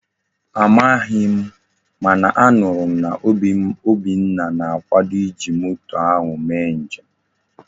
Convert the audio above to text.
Amaghi m mana a nuru m na Obinna na-akwado iji moto ahu mee njem.